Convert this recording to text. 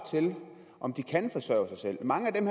om at de kan forsørge sig selv mange af dem